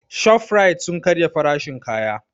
Shofrait sun karya farashin kaya